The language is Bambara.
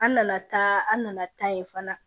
An nana taa an nana taa yen fana